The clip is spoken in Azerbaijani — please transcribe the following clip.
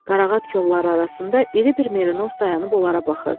Qarağat kolları arasında iri bir merinos dayanıb onlara baxırdı.